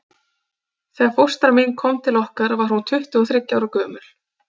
Þegar fóstra mín kom til okkar var hún tuttugu og þriggja ára gömul.